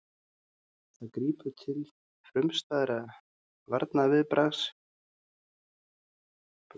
Það grípur því til frumstæðasta varnarviðbragðs sem maðurinn þekkir, það er flóttans.